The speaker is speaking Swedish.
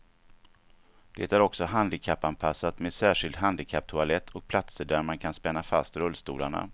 Det är också handikappanpassat med särskild handikapptoalett och platser där man kan spänna fast rullstolarna.